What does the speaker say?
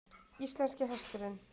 Íslenski hesturinn.